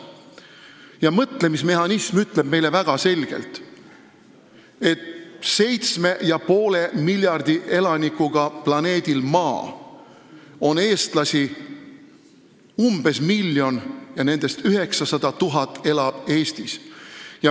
Ja see mõtlemismehhanism ütleb meile väga selgelt, et 7,5 miljardi elanikuga planeedil Maa on eestlasi umbes miljon ja nendest 900 000 elab Eestis.